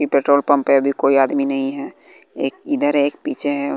ये petrol pump है अभी कोई आदमी नहीं है एक इधर एक पीछे है।